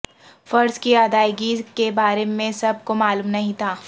فرض کی ادائیگی کے بارے میں سب کو معلوم نہیں تھا